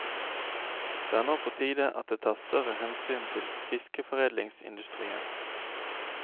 Det er nå på tide at det tas større hensyn til fiskeforedlingsindustrien.